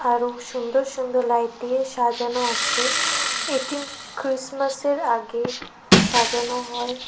আরও সুন্দর সুন্দর লাইট দিয়ে সাজানো আছে এটি ক্রিসমাসের আগে সাজানো হয়।